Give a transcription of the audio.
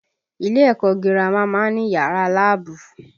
Ilé ẹ̀kọ́ gírámà má ń ní yàrá láàbù